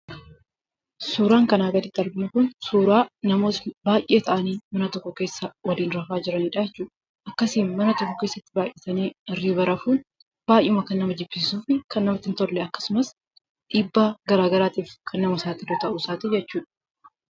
Suuraan kanaa gaditti arginu kun suuraa namoota baay'ee ta'anii mana tokko keessa waliin rafaa jiranidha jechuudha. Akkasiin baay'atanii hirriba rafuun baay'ee kan nama jibbisiisuu fi kan namatti hin tolle akkasumas dhiibbaa garaagaraatiif kan nama saaxilu ta'uu isaati.